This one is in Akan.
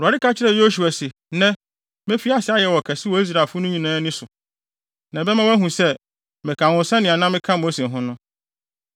Awurade ka kyerɛɛ Yosua se, “Nnɛ, mefi ase ayɛ wo ɔkɛse wɔ Israelfo no nyinaa ani so. Na ɛbɛma wɔahu sɛ, meka wo ho sɛnea na meka Mose ho no.